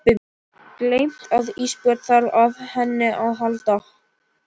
Gleymt að Ísbjörg þarf á henni að halda.